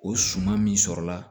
O suman min sɔrɔla